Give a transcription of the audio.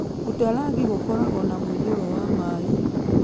Budalangi gũkoragwo na mũiyũro wa maĩ.